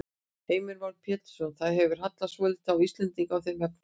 Heimir Már Pétursson: Það hefur hallað svolítið á Íslendinga í þeim efnum?